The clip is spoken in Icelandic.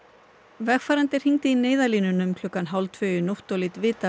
vegfarandi hringdi í Neyðarlínuna um klukkan hálf tvö í nótt og lét vita af